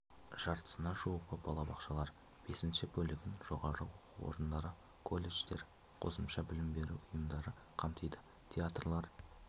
жартысына жуығы балабақшалар бесінші бөлігін жоғарғы оқу орындары колледждер қосымша білім беру ұйымдары қамтиды театрлар